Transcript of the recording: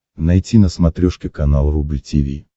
найти на смотрешке канал рубль ти ви